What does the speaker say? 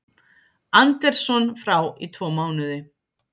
Anderson frá í tvo mánuði